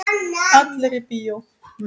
Allir í bíó!